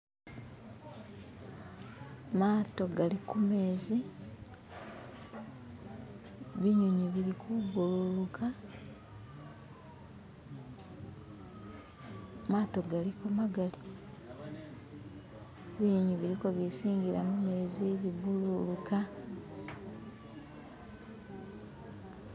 <"skip>"Maato gali kumezi <"skip>"binyunyi bili kubururuka <"skip>"maato galiko magali <"skip>" binyunyi bilikobisiingila mumezi bibururuka <"skip>"